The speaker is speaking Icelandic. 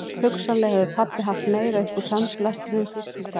Hugsanlega hefur pabbi haft meira upp úr sandblæstrinum fyrst í stað